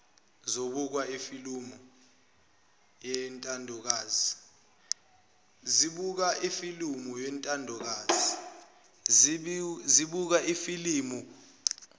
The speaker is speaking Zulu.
zibuka ifilimu eyintandokazi